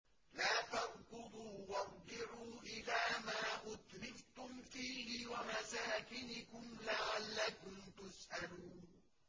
لَا تَرْكُضُوا وَارْجِعُوا إِلَىٰ مَا أُتْرِفْتُمْ فِيهِ وَمَسَاكِنِكُمْ لَعَلَّكُمْ تُسْأَلُونَ